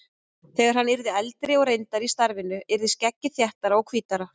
Þegar hann yrði eldri og reyndari í starfinu yrði skeggið þéttara og hvítara.